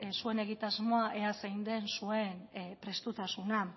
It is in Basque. zuen egitasmoa ea zein den zuen prestutasuna